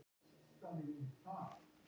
Vilja hreins nafn látins manns